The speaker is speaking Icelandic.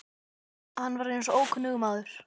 Hann var eins og ókunnugur maður.